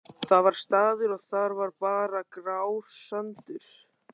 Það var staður. og þar var bara grár sandur.